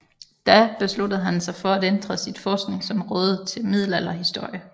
Da besluttede han sig for at ændre sit forskningsområde til middelalderhistorien